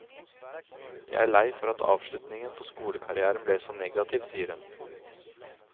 Jeg er lei for at avslutningen på skolekarrièren ble så negativ, sier hun.